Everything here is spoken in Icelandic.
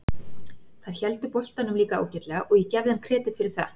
Þær héldu boltanum líka ágætlega og ég gef þeim kredit fyrir það.